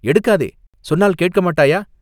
எடுக்காதே, சொன்னால் கேட்க மாட்டாயா